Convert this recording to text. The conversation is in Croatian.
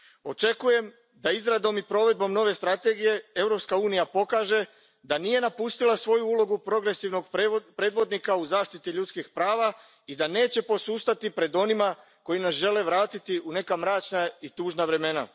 Očekujem da izradom i provedbom nove strategije Europska unija pokaže da nije napustila svoju ulogu progresivnog predvodnika u zaštiti ljudskih prava i da neće posustati pred onima koji nas žele u neka mračna i tužna vremena.